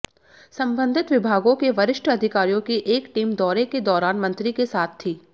सम्बंधित विभागों के वरिश्ठ अधिकारियों की एक टीम दौरे के दौरान मंत्री के साथ थी